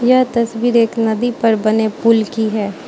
यह तस्वीर एक नदी पर बने पूल की है।